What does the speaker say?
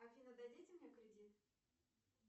афина дадите мне кредит